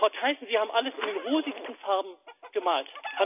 Frau Thyssen, Sie haben alles in den rosigsten Farben gemalt.